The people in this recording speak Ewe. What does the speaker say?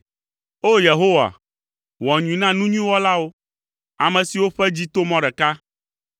O! Yehowa, wɔ nyui na nu nyui wɔlawo, ame siwo ƒe dzi to mɔ ɖeka.